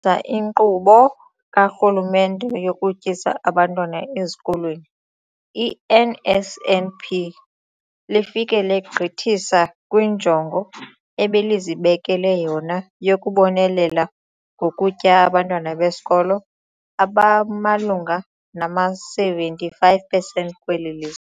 iNkqubo kaRhulumente yokuTyisa Abantwana Ezikolweni, i-NSNP, lifike legqithisa kwinjongo ebelizibekele yona yokubonelela ngokutya abantwana besikolo abamalunga nama-75 percent kweli lizwe.